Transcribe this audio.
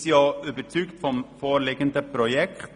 Wir sind auch überzeugt vom vorliegenden Projekt.